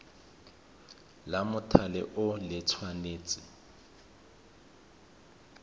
la mothale o le tshwanetse